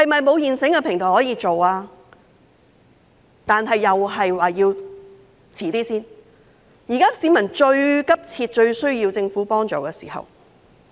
但是，政府又說要稍遲一點，現在是市民最急切、最需要政府幫助的時候。